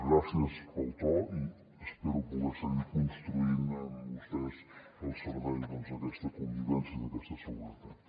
gràcies pel to i espero poder seguir construint amb vostès al servei d’aquesta convivència d’aquesta seguretat